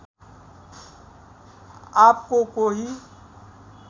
आप को कोही